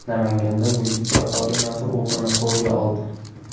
Namanganda militsiya xodimasi o‘g‘rini qo‘lga oldi.